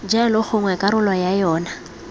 jalo gongwe karolo ya yona